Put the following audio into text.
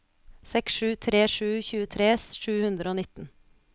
seks sju tre sju tjuetre sju hundre og nitten